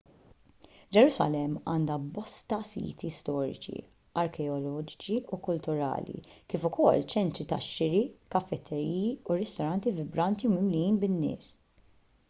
ġerusalemm għandha bosta siti storiċi arkeoloġiċi u kulturali kif ukoll ċentri tax-xiri kafetteriji u ristoranti vibranti u mimlijin bin-nies